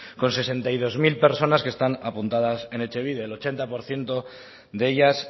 con sesenta y dos mil personas que están apuntadas en etxebide el ochenta por ciento de ellas